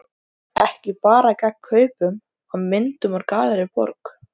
Ekki bara gegn kaupum á myndum úr Gallerí Borg.